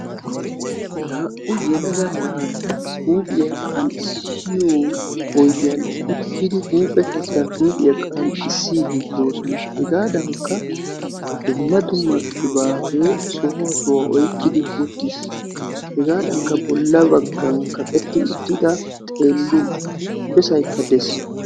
Naa'u yelaga naati huuphiya qanxxissiyo oydiyan uttidi huuphe keettan huuphiya qanxxissiiddi de'oosona. Hegaadankka dumma dumma qibaatee sohuwa sohuwa oyqqidi uttis. Hegaadankka bolla baggan kaqetti uttida xeellin besaykka de'es.